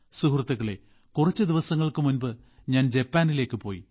സുഹൃത്തുക്കളേ കുറച്ചു ദിവസങ്ങൾക്ക് മുമ്പ് ഞാൻ ജപ്പാനിലേക്ക് പോയി